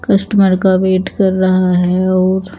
customer का wait कर रहा है और--